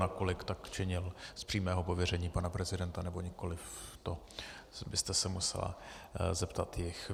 Nakolik tak činil z přímého pověření pana prezidenta, nebo nikoliv, to byste se musela zeptat jich.